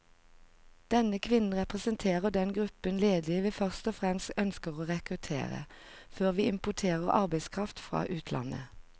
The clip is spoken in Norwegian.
Denne kvinnen representerer den gruppen ledige vi først og fremst ønsker å rekruttere, før vi importerer arbeidskraft fra utlandet.